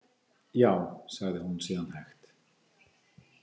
Já, sagði hún síðan hægt.